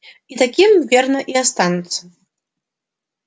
и таким верно и останутся